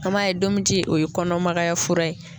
A m'a ye ndomi ji o ye kɔnɔmagaya fura ye.